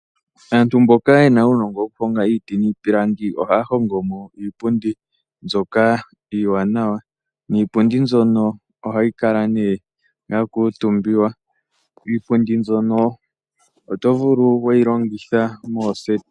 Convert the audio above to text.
Aantu mboka yena unongo wokuhonga iti nipilangi ohaya hongo mo iipundi mbyoka iwanawa niipundi mbyono ohayi kala ne yakutumbiwa iipundi mbyono oto vulu weyi longitha moseti.